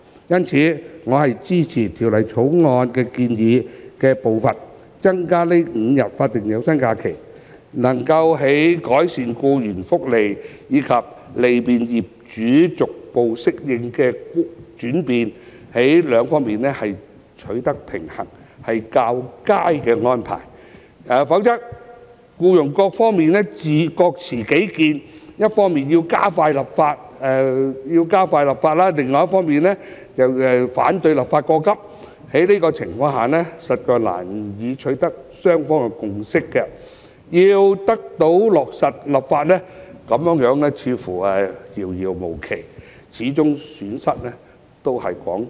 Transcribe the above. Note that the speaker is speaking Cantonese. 因此，我支持以《條例草案》建議的步伐增加5日法定有薪假日，在改善僱員福利及利便僱主逐步適應轉變兩者之間取得平衡，是較佳的安排，否則僱傭雙方各持己見，一方要加快立法，另一方則反對立法過急，在這種情況下，雙方實難以取得共識，要得以落實立法便會遙遙無期，最終承受損失的都是廣大僱員。